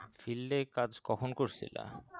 field এ কাজ কখন করসিলা